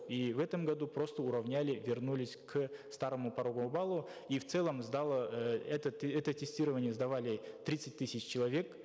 и в этом году просто уравняли вернулись к старому пороговому баллу и в целом сдало э это тестирование сдавали тридцать тысяч человек